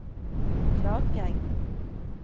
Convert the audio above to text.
Klakegg